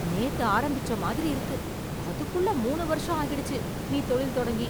நேத்து ஆரம்பிச்ச மாதிரி இருக்கு, அதுக்குள்ள மூணு வருஷம் ஆகிடுச்சு நீ தொழில் தொடங்கி.